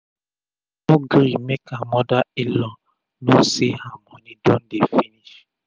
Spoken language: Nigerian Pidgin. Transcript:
she no gree make her moda in-law know say her moni don dey dey finish